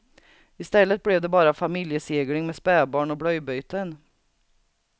I stället blev det bara familjesegling med spädbarn och blöjbyten.